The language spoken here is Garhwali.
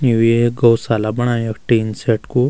यू अएक गौशाला बणायुं यख टिन सेट कु।